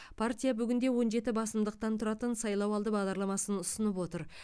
партия бүгінде он жеті басымдықтан тұратын сайлауалды бағдарламасын ұсынып отыр